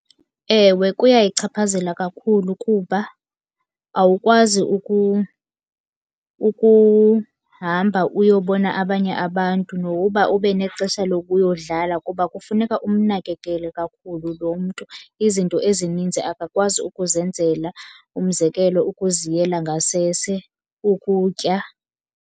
Ewe, kuyayichaphazela kakhulu kuba awukwazi ukuhamba uyobona abanye abantu nokuba ube nexesha lokuyodlala kuba kufuneka umnakekele kakhulu lo mntu. Izinto ezininzi akakwazi ukuzenzela, umzekelo ukuziyela ngasese, ukutya.